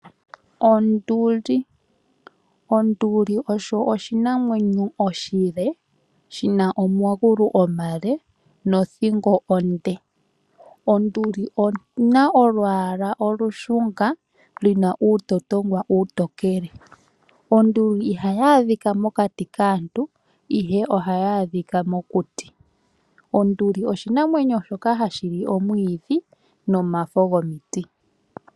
Onduli osho oshinamwenyo oshile shina omagulu omale nothingo onde. Onduli oyina olwaala olushunga li na uutotongwa uutokele. Onduli ihayi adhika mokati kaantu ihe ohayi adhika mokuti. Onduli oshinamwenyo shoka hashi li omwiidhi nomafo gomiti.